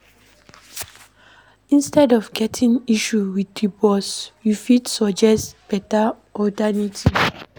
Instead of getting issue with di boss, you fit suggest better alternative